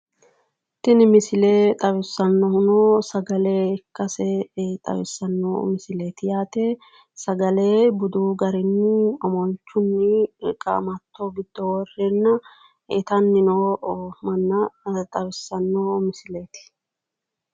Tini misile xawissannohuno sagale ikkase xawissanno misileeti yaate. Sagale budu garinni omolchunni qaamatto giddo worreenna itanni noo manna xawissanno misileeti